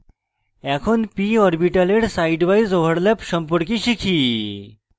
এখন p orbitals sidewise overlap সম্পর্কে শিখি